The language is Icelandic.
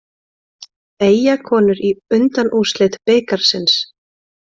Eyjakonur í undanúrslit bikarsins